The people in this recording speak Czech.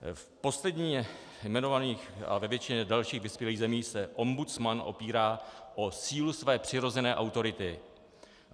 V posledně jmenovaných a ve většině dalších vyspělých zemí se ombudsman opírá o sílu své přirozené autority.